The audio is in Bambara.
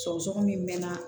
Sɔgɔsɔgɔni min mɛnana